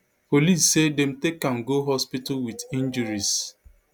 police say dem take am go hospital wit injuries